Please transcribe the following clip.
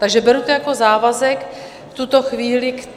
Takže beru to jako závazek v tuto chvíli.